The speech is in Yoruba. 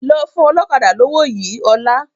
Lọ fún ọlọ́kadà lówó yìí ọ́la!